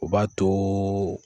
U b'a to